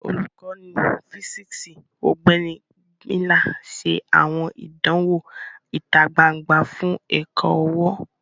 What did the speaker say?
Olukọni fisiksi, Ọgbẹni Miller, ṣe awọn idanwo ita gbangba fun ẹkọ-ọwọ.